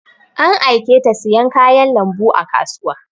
An aiketa siyan kayan lambu a kasuwa